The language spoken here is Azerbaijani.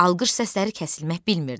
Alqış səsləri kəsilmək bilmirdi.